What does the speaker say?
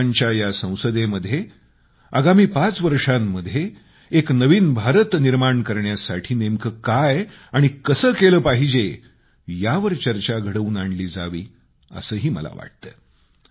युवकांच्या या संसदेमध्ये आगामी पाच वर्षांमध्ये एका नवीन भारताचे निर्माण करण्यासाठी नेमकं काय आणि कसं केलं पाहिजे यावर चर्चा घडवून आणली जावी असंही मला वाटतं